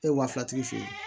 E ye wa filatigi feere